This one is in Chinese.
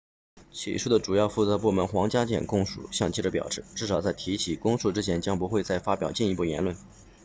起诉的主要负责部门皇家检控署向记者表示至少在提起公诉之前将不会再发表进一步言论